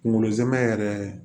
Kunkolo zɛmɛ yɛrɛ